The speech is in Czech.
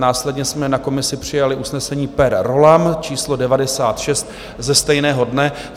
Následně jsme na komisi přijali usnesení per rollam číslo 96 ze stejného dne.